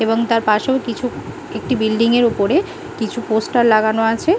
এবং তার পাশেও কিছু একটি বিল্ডিং এর ওপরে কিছু পোস্টার লাগানো আছে।